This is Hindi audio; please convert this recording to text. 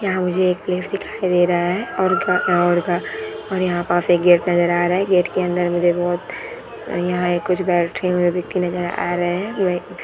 यहां मुझे एक प्लेस दिखाई दे रहा है और का और का और हां पे गेट नज़र आ रहे हैं गेट के अन्दर मुझे बहुत यहाँ एक कुछ बैठे हुए व्यक्ति नजर आ रहे हैं।